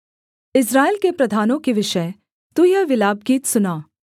इस्राएल के प्रधानों के विषय तू यह विलापगीत सुना